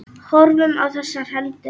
Horfðum á þessar hendur.